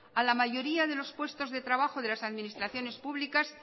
a la mayoría de los puestos de trabajo de las administraciones públicas